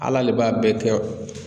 Ala le b'a bɛɛ kɛ.